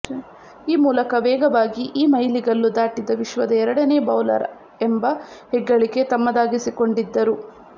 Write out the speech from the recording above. ಈ ಮೂಲಕ ವೇಗವಾಗಿ ಈ ಮೈಲುಗಲ್ಲು ದಾಟಿದ ವಿಶ್ವದ ಎರಡನೇ ಬೌಲರ್ ಎಂಬ ಹೆಗ್ಗಳಿಕೆ ತಮ್ಮದಾಗಿಸಿಕೊಂಡಿದ್ದರು